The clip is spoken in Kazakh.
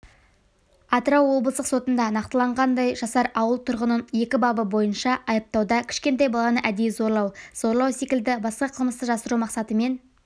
атырау облыстық сотында нақтылағандай жасар ауыл тұрғынын екі бабы бойынша айыптауда кішкентай баланы әдейі зорлау зорлау секілді басқа қылмысты жасыру мақсатымен